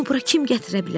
Bunu bura kim gətirə bilər?